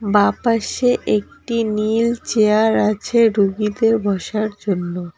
বাঁপাশে একটি নীল চেয়ার আছে রুগীদের বসার জন্য।